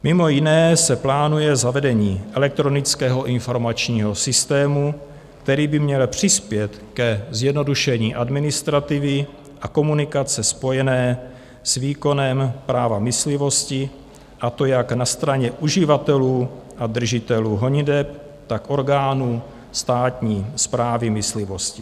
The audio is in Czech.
Mimo jiné se plánuje zavedení elektronického informačního systému, který by měl přispět k zjednodušení administrativy a komunikace spojené s výkonem práva myslivosti, a to jak na straně uživatelů a držitelů honiteb, tak orgánů státní správy myslivosti.